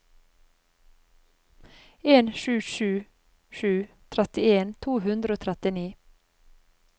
en sju sju sju trettien to hundre og trettini